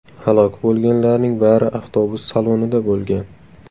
Halok bo‘lganlarning bari avtobus salonida bo‘lgan.